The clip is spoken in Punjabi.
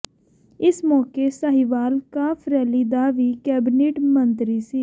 ਇਸ ਮੌਕੇ ਸਾਹੀਵਾਲ ਕਾਫ ਰੈਲੀ ਦਾ ਵੀ ਕੈਬਨਿਟ ਮੰਤਰੀ ਸ